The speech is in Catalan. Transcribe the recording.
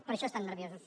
per això estan nerviosos